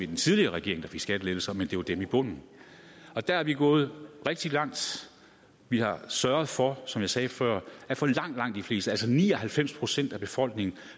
den tidligere regering skattelettelser men det var dem i bunden der er vi gået rigtig langt vi har sørget for som jeg sagde før at for langt langt de fleste altså ni og halvfems procent af befolkningen